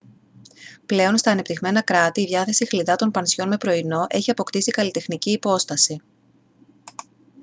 πλέον στα ανεπτυγμένα κράτη η διάθεση χλιδάτων πανσιόν με πρωινό έχει αποκτήσει καλλιτεχνική υπόσταση